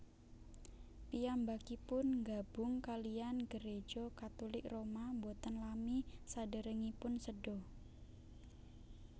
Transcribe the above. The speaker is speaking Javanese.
Piyambakipun nggabung kaliyan Gereja Katulik Roma boten lami saderengipun seda